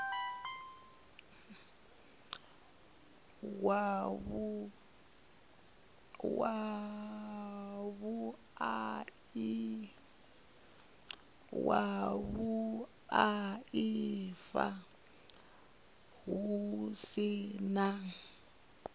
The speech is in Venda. wa vhuaifa hu si na